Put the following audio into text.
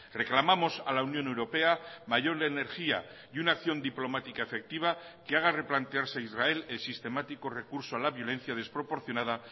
reclamamos a la unión europea mayor energía y una acción diplomática efectiva que haga replantearse a israel el sistemático recurso a la violencia desproporcionada